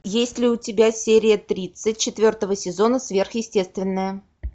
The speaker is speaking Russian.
есть ли у тебя серия тридцать четвертого сезона сверхъестественное